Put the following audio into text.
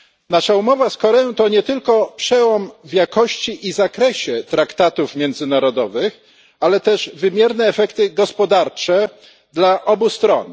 Nasza umowa z Koreą to nie tylko przełom pod względem jakości i zakresu traktatów międzynarodowych, ale też wymierne efekty gospodarcze dla obu stron.